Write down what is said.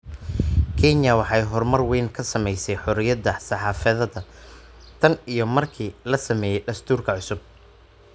Kenya waxay horumar weyn ka samaysay xoriyadda saxaafadda tan iyo markii la sameeyay dastuurka cusub.